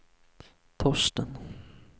Torsten